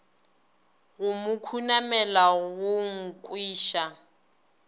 go mo khunamela go nkweša